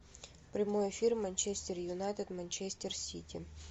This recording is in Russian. прямой эфир манчестер юнайтед манчестер сити